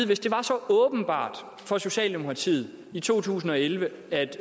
hvis det var så åbenbart for socialdemokratiet i to tusind og elleve at